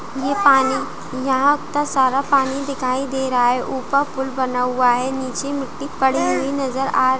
ये पानी यहाँ आपका सारा पानी दिखाई दे रहा है ऊपर पुल बना हुआ है नीचे मिट्टी पड़ी हुई नजर आ रही--